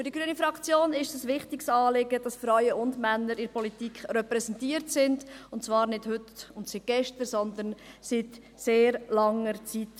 Für die grüne Fraktion ist es ein wichtiges Anliegen, dass Frauen und Männer in der Politik repräsentiert sind, und zwar nicht heute und seit gestern, sondern seit sehr langer Zeit.